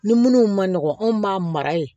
Ni minnu ma nɔgɔn anw b'a mara yen